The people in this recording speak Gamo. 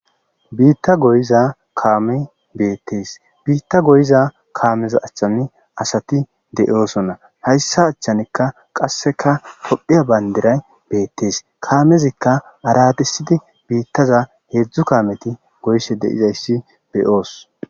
Biitta goyiza kaame beettees biitta goyiza kaameza achchani asati de7oosonna hayssa achchanikka qasseka kophphiya bayndiray beettees kaamezikka aradisidi biittaza heedzdzu kaameti goysse deizayssi beyoos.